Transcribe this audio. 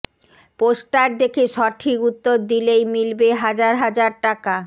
poster দেখে সঠিক উত্তর দিলেই মিলবে হাজার হাজার টাকা